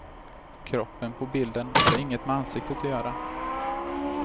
Kroppen på bilden har inget med ansiktet att göra.